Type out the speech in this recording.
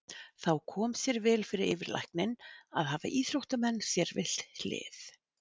Þá kom sér vel fyrir yfirlækninn að hafa íþróttamann sér við hlið.